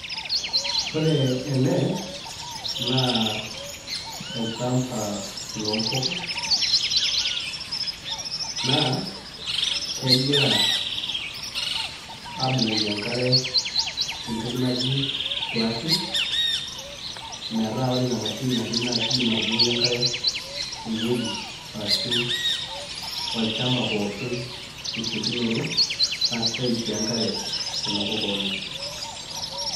Ore ele naa olchamba loompuka naa kegira aabukoki enkare tentoki naji splashing metaa ore ina mashini naa kiidim atubukoki enkare ewuoi arashu olchamba pooki tesiokinoto naa keeim sii enkare nena puka oleng'.